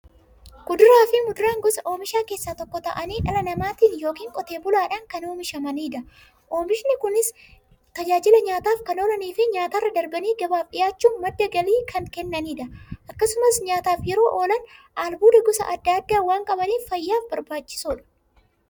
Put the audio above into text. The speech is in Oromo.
Kuduraafi muduraan gosa oomishaa keessaa tokko ta'anii, dhala namaatin yookiin Qotee bulaadhan kan oomishamaniidha. Oomishni Kunis, tajaajila nyaataf kan oolaniifi nyaatarra darbanii gabaaf dhiyaachuun madda galii kan kennaniidha. Akkasumas nyaataf yeroo oolan, albuuda gosa adda addaa waan qabaniif, fayyaaf barbaachisoodha.